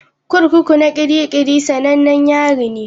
Kurkuku na Kirikiri sanannen yari ne.